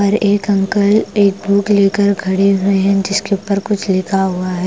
एक अंकल एक बुक लेकर खड़े हुए हैं जिसके ऊपर कुछ लिखा हुआ है ।